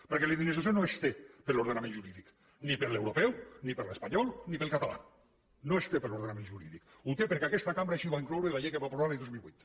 perquè la indemnització no es té per l’ordenament jurídic ni per l’europeu ni per l’espanyol ni pel català no es té per ordenament jurídic ho té perquè aquesta cambra així ho va incloure en la llei que va aprovar l’any dos mil vuit